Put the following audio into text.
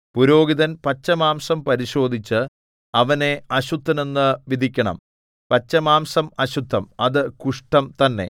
പുരോഹിതൻ പച്ചമാംസം പരിശോധിച്ച് അവനെ അശുദ്ധനെന്നു വിധിക്കണം പച്ചമാംസം അശുദ്ധം അത് കുഷ്ഠം തന്നെ